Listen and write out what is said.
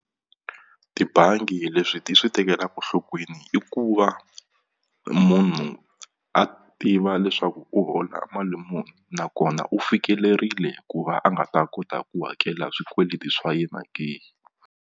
Tibangi leswi ti swi tekelaku nhlokweni i ku va munhu a tiva leswaku u hola mali muni nakona u fikelerile ku va a nga ta kota ku hakela swikweleti swa yena ke.